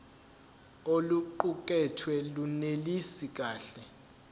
oluqukethwe lunelisi kahle